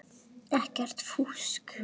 Ekkert fúsk.